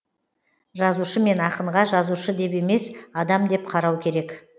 жазушы мен ақынға жазушы деп емес адам деп қарау керек